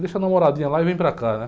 Deixa a namoradinha lá e vem para cá, né?